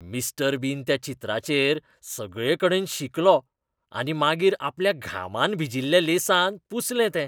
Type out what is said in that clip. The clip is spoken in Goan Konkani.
मिस्टर बीन त्या चित्राचेर सगळेकडेन शिंकलो आनी मागीर आपल्या घामान भिजिल्ल्या लेंसान पुसलें तें.